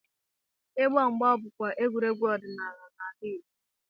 Ịgba mgba bụkwa egwuregwu ọdịnala n'ala Igbo.